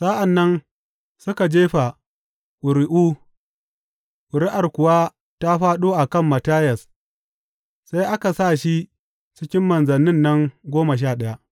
Sa’an nan suka jefa ƙuri’u, ƙuri’ar kuwa ta fāɗo a kan Mattiyas; sai aka sa shi cikin manzannin nan goma sha ɗaya.